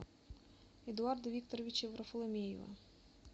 эдуарда викторовича варфоломеева